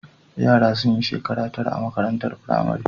Yara suna yin shekara tara a makarantar firamare